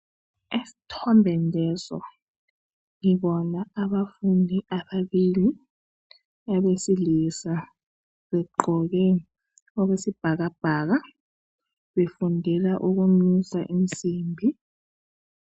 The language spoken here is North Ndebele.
Esithombeni leso ngibona abafundi ababili abesilisa begqoke okwesibhakabhaka befundela ukunusa insimbi